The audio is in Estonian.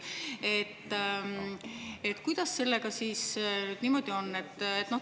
Kuidas sellega siis on?